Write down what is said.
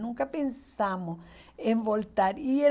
Nunca pensamos em voltar e era